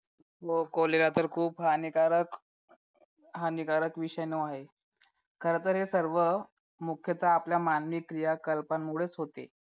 हो cholera तर खूप हानिकारक हानिकारक विषाणू आहे खरंतर हे सर्व मुख्यतः आपल्या मानवी क्रिया कल्प मुळेच होते